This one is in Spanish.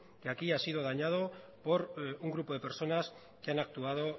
que aquí ha sido dañado por un grupo de personas que han actuado